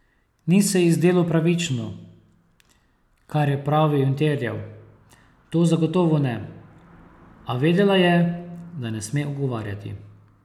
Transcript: Ni se ji zdelo pravično, kar je pravil in terjal, to zagotovo ne, a vedela je, da ne sme ugovarjati.